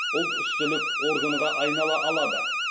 ұлтүстілік органға айнала алады